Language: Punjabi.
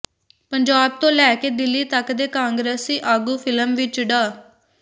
ਪੰਜਾਬ ਤੋਂ ਲੈ ਕੇ ਦਿੱਲੀ ਤੱਕ ਦੇ ਕਾਂਗਰਸੀ ਆਗੂ ਫਿਲਮ ਵਿੱਚ ਡਾ